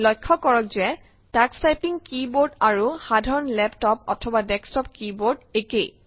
লক্ষ্য কৰক যে টাক্স টাইপিং কী বোৰ্ড আৰু সাধাৰণ লেপটপ অথবা ডেস্কটপ কী বোৰ্ড একেই